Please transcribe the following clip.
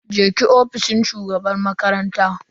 je ki ofishin shugaban makaranta.